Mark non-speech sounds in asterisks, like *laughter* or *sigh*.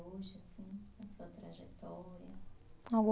Hoje, assim, na sua trajetória? *unintelligible*